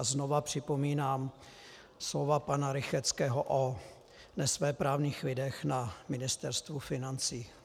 A znova připomínám slova pana Rychetského o nesvéprávných lidech na Ministerstvu financí.